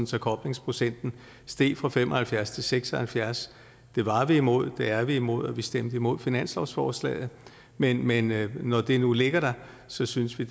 så koblingsprocenten steg fra fem og halvfjerds til seks og halvfjerds det var vi imod det er vi imod og vi stemte imod finanslovsforslaget men men når det nu ligger der synes vi